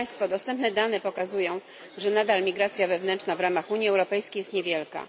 Dostępne dane pokazują, że migracja wewnętrzna w ramach Unii Europejskiej jest nadal niewielka.